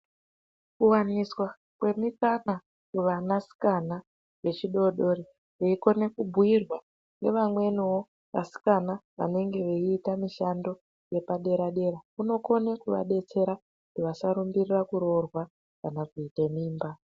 Kuwaniswa kwemikaka kuvana sikana zvidodori veikona kubhuirwa nevamweniwo vaskana vanenge veita mishando yepadera unokona kuvadetsera vasarumbira kuroorwa kana kuita mimba.